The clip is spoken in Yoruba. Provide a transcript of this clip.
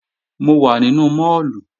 Mo wà nínú máàlù